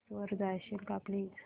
settings वर जाशील का प्लीज